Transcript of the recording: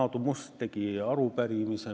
Aadu Must tegi selle kohta arupärimise.